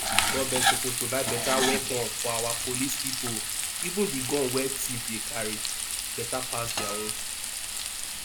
government suppose provide better weapon for our police people even the gun wey thief dey carry better pass dia own